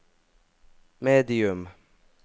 medium